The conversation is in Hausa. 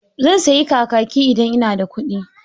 Zan sayi kakaki idan ina da kuɗi.